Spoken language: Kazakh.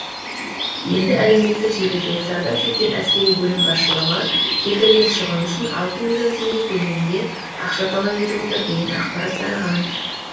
енді әлеуметтік желіде зардап шеккен әскери бөлім басшылығы келтірген шығын үшін алты миллион теңге көлемінде ақша талап етіп отыр деген ақпарат тараған